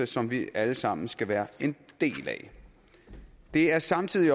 som vi alle sammen skal være en del af det er samtidig